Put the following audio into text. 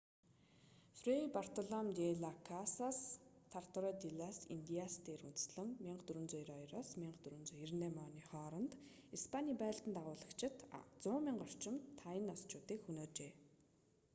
фрэй бартолом-дэ-лас-касас тратадо-дэ-лас-индиас дээр үндэслэн 1492-1498 оны хооронд испанийн байлдан дагуулагчид 100,000 орчим тайносчуудыг хөнөөжээ